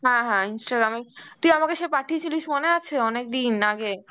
হ্যাঁ হ্যাঁ, Instagram এর, তুই আমাকে সেই পাঠিয়েছিলিস মনে আছে অনেকদিন আগে?